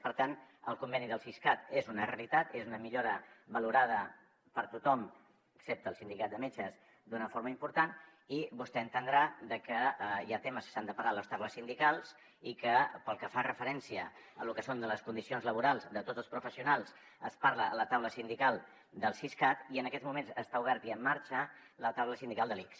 per tant el conveni del siscat és una realitat és una millora valorada per tothom excepte el sindicat de metges d’una forma important i vostè ha d’entendre que hi ha temes que s’han de parlar a les taules sindicals i que pel que fa referència a lo que són les condicions laborals de tots els professionals es parla a la taula sindical del siscat i en aquests moments està oberta i en marxa la taula sindical de l’ics